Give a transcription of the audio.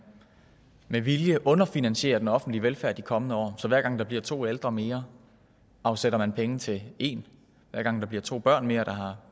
med vilje underfinansierer den offentlige velfærd de kommende år så hver gang der bliver to ældre mere afsætter man penge til én hver gang der bliver to børn mere der har